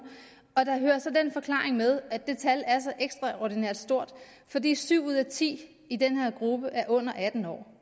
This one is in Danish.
og der hører så den forklaring med at det tal er så ekstraordinært stort fordi syv ud af ti i den her gruppe er under atten år